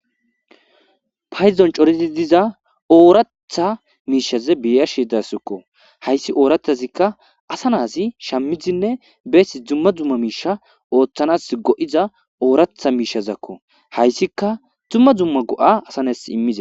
Paydon corid diza oratha mishaza beyashe daysko. Hays orathazika asa nas shamidine bes dumma dumma misha othanas go'iza oratha mishazako . Haysika dumma dumma go'a ada nas imiza .,...